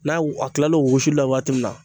N'a a kil'o usuli la waati min na.